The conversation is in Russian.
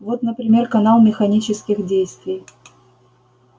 вот например канал механических действий